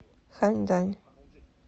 ханьдань